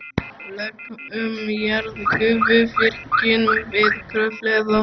Lög um jarðgufuvirkjun við Kröflu eða